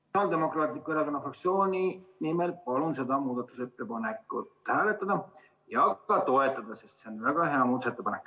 Sotsiaaldemokraatliku Erakonna fraktsiooni nimel palun seda muudatusettepanekut hääletada ja ka toetada, sest see on väga hea muudatusettepanek.